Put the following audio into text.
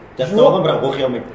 жаттап алған бірақ оқи алмайды